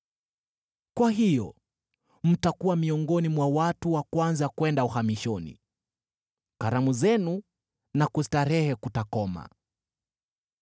Kwa hiyo mtakuwa miongoni mwa watu wa kwanza kwenda uhamishoni; karamu zenu na kustarehe kutakoma.